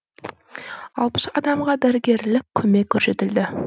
алпыс адамға дәрігерлік көмек көрсетілді